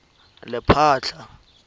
lephatla